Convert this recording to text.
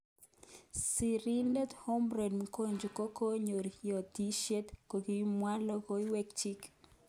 Siridet Humprey Mgonja kokonyo yotishet akoibwech lokowekchu